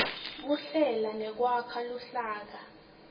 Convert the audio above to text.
kuhlela nekwakha luhlaka